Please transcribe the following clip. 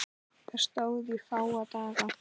Það stóð í fáa daga.